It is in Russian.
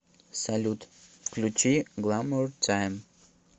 салют включи гламур тайм